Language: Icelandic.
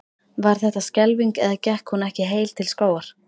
Var þetta skelfing eða gekk hún ekki heil til skógar?